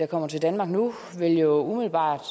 kommer til danmark nu jo umiddelbart